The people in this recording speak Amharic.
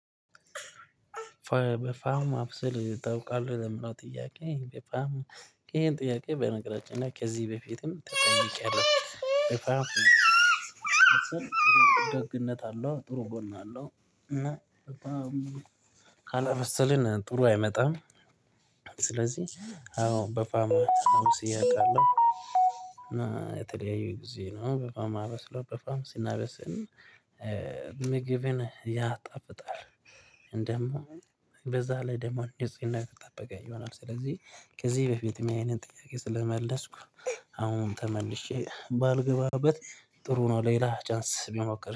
ፋም ማብሰል ታውቃለህ ለሚባል ጥያቄ በጣም ይሄን ጥያቄ በነገራችን እና ከዚህ በፊትም ተጠይቄአለው። ደግነት አለው ጥሩ ጎን አለው። እና በጣም ካላበሰልን ጥሩ አይመጣም። ስለዚህ አዎ በፋም አብስዬ አውቃለሁ። እና የተለያዩ ጊዜ ነው በፋም ማበስለው በፋም ስናበስል ምግብን ያጣፍጣል። ደግሞ በዛ ላይ ደግሞ እንደዚህ የተጣበቀ ይሆናል። ስለዚህ ከዚህ በፊትም ይሄንን ጥያቄ ስለመለስኩ። አሁን ተመልሼ ባልገባበት ጥሩ ነው ሌላ ቻንስ ብሞክር